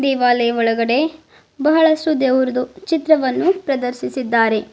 ದೇವಾಲಯ ಒಳಗಡೆ ಬಹಳ ದೇವುರ್ದು ಚಿತ್ರವನ್ನು ಪ್ರದರ್ಶಿಸಿದ್ದಾರೆ.